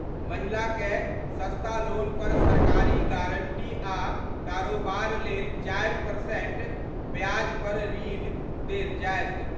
महिला कए सस्ता लोन पर सरकारी गारंटी आ कारोबार लेल 4% ब्याज पर ऋण देल जाएत।